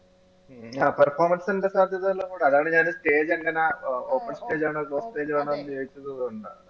ആഹ് performance ന്റെ സാധ്യത എല്ലാംകൂടെ അതാണ് ഞാൻ stage എങ്ങനെ open stage ആണോ closed stage ആണോന്നു ചോദിച്ചത് അതുകൊണ്ടാ